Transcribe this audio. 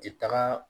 Ti taga